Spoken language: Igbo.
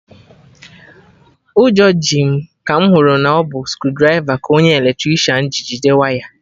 Ụjọ ji m ka mụ hụrụ na ọ bụ screwdriver ka onye Eletricịanji jide waya